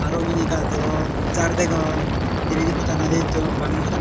arow onne onne gaj degong jar degong denendi pottanodi tun bangendi pottan.